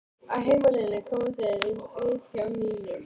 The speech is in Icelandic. Á heimleiðinni komu þeir við hjá Nínu.